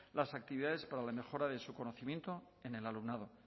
las actividades para la mejora de su conocimiento en el alumnado